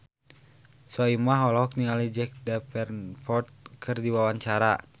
Soimah olohok ningali Jack Davenport keur diwawancara